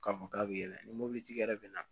K'a fɔ k'a bɛ yɛlɛn ni mɔbilitigi yɛrɛ bɛ na